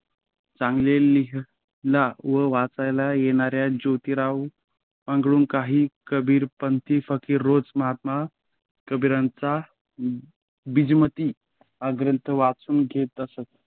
चांगले लिहायला व वाचायला येणाऱ्या जोतीरावकडून काही कबीरपंथी फकीर रोज महात्मा कबीरांचा बीजमती हा ग्रंथ वाचून घेत असत